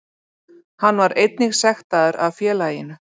Hann var einnig sektaður af félaginu